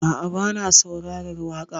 A'a, bana saurarar waƙa.